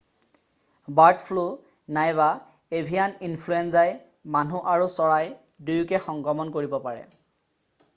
bird flu নাইবা avian ইনফ্লুৱেঞ্জাই মানুহ আৰু চৰাই দুয়োকে সংক্ৰমণ কৰিব পাৰে